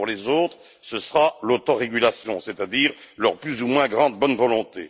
Pour les autres, ce sera l'autorégulation, c'est à dire leur plus ou moins grande bonne volonté.